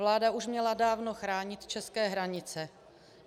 Vláda už měla dávno chránit české hranice.